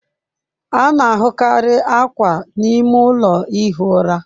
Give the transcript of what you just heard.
A na-ahụkarị akwa n'ime ụlọ ihi ụra.